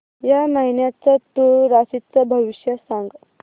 या महिन्याचं तूळ राशीचं भविष्य सांग